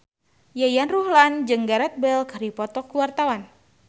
Yayan Ruhlan jeung Gareth Bale keur dipoto ku wartawan